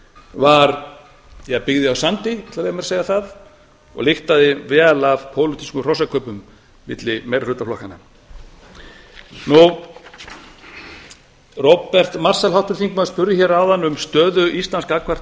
var byggð á sandi ég ætla að leyfa mér að segja það og lyktaði vel af pólitískum hrossakaupum milli meirihluta flokkanna háttvirtur þingmaður róbert marshall spurði hér áðan um stöðu íslands gagnvart evrópusambandinu